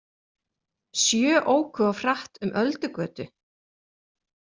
Sjö óku of hratt um Öldugötu